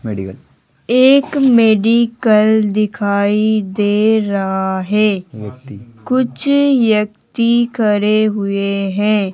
एक मेडिकल दिखाई दे रहा है कुछ व्यक्ति खड़े हुए हैं।